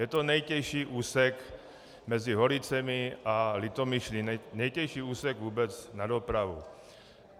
Je to nejtěžší úsek mezi Holicemi a Litomyšlí, nejtěžší úsek vůbec na dopravu.